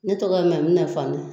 Ne tɔgɔ Mamina Fanɛ